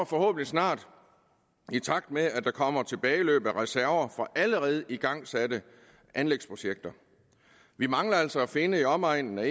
forhåbentlig snart i takt med at der kommer tilbageløb af reserver fra allerede igangsatte anlægsprojekter vi mangler altså at finde i omegnen af